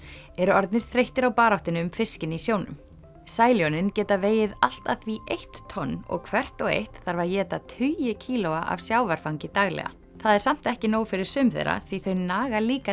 eru orðnir þreyttir á baráttunni um fiskinn í sjónum Sæljónin geta vegið allt að því eitt tonn og hvert og eitt þarf að éta tugi kílóa af sjávarfangi daglega það er samt ekki nóg fyrir sum þeirra því þau naga líka